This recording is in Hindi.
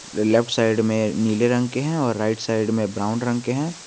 ल लेफ्ट साइड में नीले रंग के है राइट साइड में ब्राउन रंग के है।